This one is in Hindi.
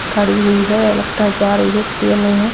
खड़ी हुई है लगता है जा रही है --